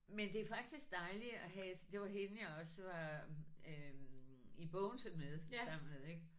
Men det er faktisk dejligt at have det var hende jeg også var øh i Bogense med sammen med ik